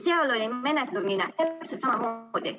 Seal oli menetlemine täpselt samamoodi.